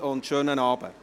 Einen schönen Abend.